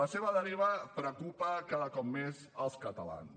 la seva deriva preocupa cada cop més els catalans